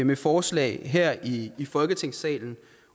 med forslag her i folketingssalen